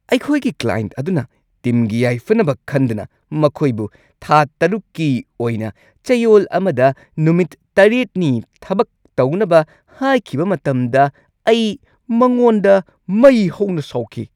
ꯑꯩꯈꯣꯏꯒꯤ ꯀ꯭ꯂꯥꯏꯟꯠ ꯑꯗꯨꯅ ꯇꯤꯝꯒꯤ ꯌꯥꯏꯐꯅꯕ ꯈꯟꯗꯅ ꯃꯈꯣꯏꯕꯨ ꯊꯥ ꯶ꯀꯤ ꯑꯣꯏꯅ ꯆꯌꯣꯜ ꯑꯃꯗ ꯅꯨꯃꯤꯠ ꯷ ꯅꯤ ꯊꯕꯛ ꯇꯧꯅꯕ ꯍꯥꯏꯈꯤꯕ ꯃꯇꯝꯗ ꯑꯩ ꯃꯉꯣꯟꯗ ꯃꯩ ꯍꯧꯅ ꯁꯥꯎꯈꯤ꯫